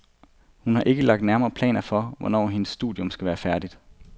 Hun har ikke lagt nærmere planer for, hvornår hendes studium skal være færdigt.